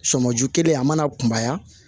Sɔmiju kelen a mana kunbaya